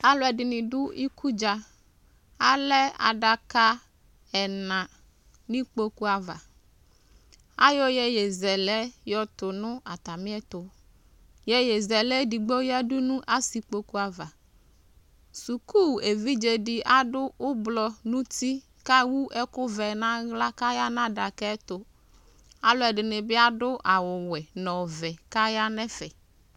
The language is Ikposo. Alʋɛdɩnɩ dʋ ikudza Alɛ adaka ɛna nʋ ikpoku ava Ayɔ iyeyezɛlɛ tʋ nʋ atamɩɛtʋ Iyeyezɛlɛ edigbo yǝdu nʋ asɩkpoku ava Suku evidze dɩ adʋ ʋblɔ nʋ uti kʋ ewu ɛkʋvɛ nʋ aɣla kʋ aya nʋ adaka yɛ tʋ Alʋɛdɩnɩ bɩ adʋ awʋwɛ nʋ ɔvɛ kʋ aya nʋ ɛfɛ